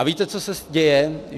A víte, co se děje?